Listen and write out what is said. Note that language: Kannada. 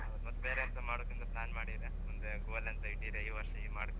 ಹೌದು ಮತ್ತೆ ಬೇರೆ ಎಂತಾದ್ರೂ ಮಾಡುಕ್ ಅಂತ plan ಮಾಡಿರಾ ಮುಂದೆ goal ಎಂತ ಇಟ್ಟಿರ ಈ ವರ್ಷ ಇದ್ ಮಾಡ್ಕ್ ಅಂತ.